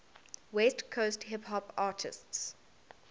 west coast hip hop artists